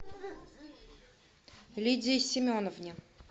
лидии семеновне